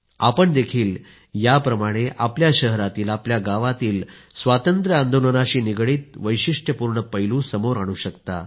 आपणही याप्रमाणे आपल्या शहरातील गावातील स्वातंत्र्य आंदोलनाशी निगडीत वैशिष्ट्यपूर्ण पैलू समोर आणू शकता